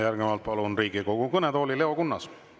Järgnevalt palun Riigikogu kõnetooli Leo Kunnase.